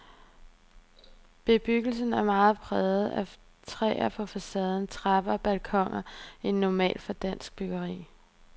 Bebyggelsen er mere præget af træ på facader, trapper og balkoner end normalt for dansk byggeri.